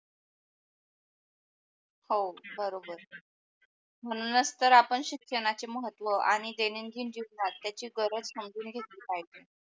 हो बरोबर म्हणूनच तर आपण शिक्षणाचे महत्व आणि दैनंदिन जीवनात त्याची गरज समजून घेतली पाहिजे.